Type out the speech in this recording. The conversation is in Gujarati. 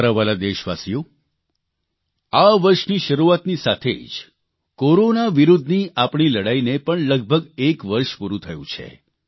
મારા વ્હાલા દેશવાસીઓ આ વર્ષની શરૂઆતની સાથે જ કોરોના વિરૂદ્ધની આપણી લડાઇને પણ લગભગ લગભગ 1 વર્ષ પૂરૂં થયું છે